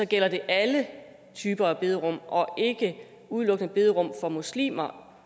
gælder alle typer af bederum og ikke udelukkende bederum for muslimer